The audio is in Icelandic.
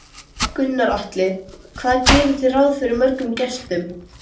Gunnar Atli: Hvað gerið þið ráð fyrir mörgum gestum?